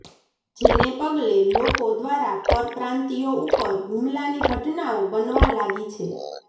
જેને પગલે લોકો દ્વારા પરપ્રાંતિયો ઉપર હુમલાની ઘટનાઓ બનવા લાગી છે